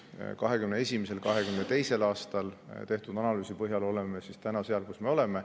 2021.–2022. aastal tehtud analüüsi põhjal oleme täna seal, kus me oleme.